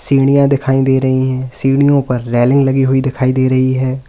सीढ़ियां दिखाई दे रही हैं सीढ़ियों पर रेलिंग लगी हुई दिखाई दे रही है।